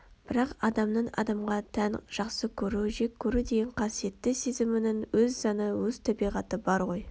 бірақ адамның адамға тән жақсы көру жек көру деген қасиетті сезімінің өз заңы өз табиғаты бар ғой